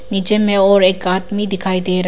नीचे में और एक आदमी दिखाई दे रहा--